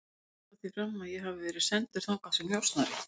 Þeir halda því fram að ég hafi verið sendur þangað sem njósnari